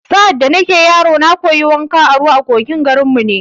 Sa’ad da nake yaro, na koyi wanka a ruwa a kogin garin mu ne